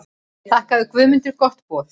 Þakkaði Guðmundur gott boð.